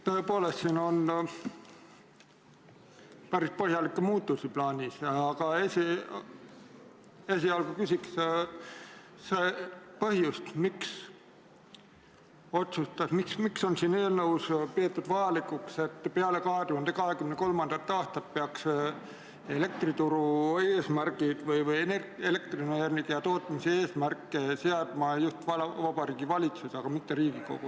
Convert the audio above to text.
Tõepoolest, siin on päris põhjalikke muudatusi plaanis, aga esialgu küsin seda põhjust, miks on siin eelnõus peetud vajalikuks, et peale 2023. aastat peaks elektrituru eesmärke või elektrienergia tootmise eesmärke seadma just Vabariigi Valitsus, aga mitte Riigikogu.